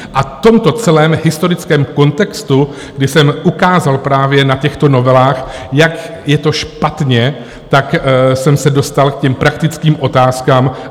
A v tomto celém historickém kontextu, kdy jsem ukázal právě na těchto novelách, jak je to špatně, tak jsem se dostal k těm praktickým otázkám.